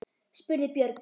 spurði Björg.